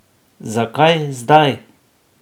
Zakaj zdaj?